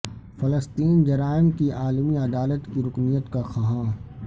فلسطین جرائم کی عالمی عدالت کی رکنیت کا خواہاں